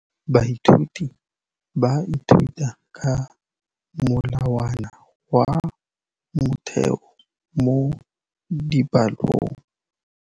Baithuti ba ithuta ka molawana wa motheo mo dipalong.